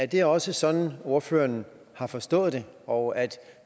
det også sådan ordføreren har forstået det og at